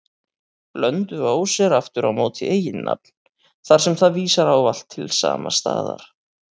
Blönduós er aftur á móti eiginnafn, þar sem það vísar ávallt til sama staðar.